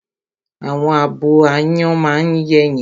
Àwọn abo áyán máa ń yẹ́yin